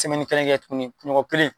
Semɛni kelen kɛ tuguni kun ɲɔgɔn kelen